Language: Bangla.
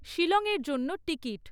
শিলং এর জন্য টিকিট